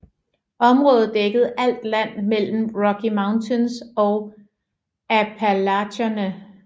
Området dækkede alt land mellem Rocky Mountains og Appalacherne